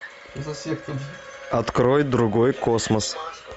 открой другой космос